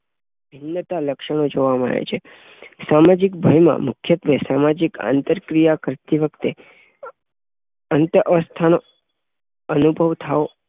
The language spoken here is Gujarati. ખિન્નતાનાં લક્ષણો જોવા મળે છે. સામાજિક ભયમાં મુખ્યત્વે સામાજિક આંતરક્રિયા કરતી વખતે અ અસ્વસ્થતાનો અનુભવ થાવ